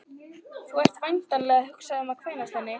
Þú ert væntanlega að hugsa um að kvænast henni